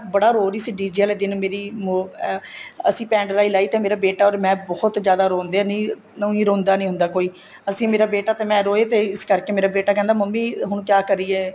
ਬੜਾ ਰੋਹ ਰਹੀ ਸੀ DJ ਵਾਲੇ ਦਿਨ ਮੇਰੀ ਅਹ ਅਸੀਂ pen drive ਲਾਈ ਤੇ ਮੇਰਾ ਬੇਟਾ ਔਰ ਮੈਂ ਬਹੁਤ ਜਿਆਦਾ ਰੋਂਦੇ ਨਹੀਂ ਉਹੀ ਰੋਂਦਾ ਨਹੀਂ ਹੁੰਦਾ ਕੋਈ ਅਸੀਂ ਮੇਰਾ ਬੇਟਾ ਤੇ ਮੈਂ ਰੋਏ ਤੇ ਇਸ ਕਰਕੇ ਮੇਰਾ ਬੇਟਾ ਕਹਿੰਦਾ ਮੰਮੀ ਹੁਣ ਕਿਆ ਕਰੀਏ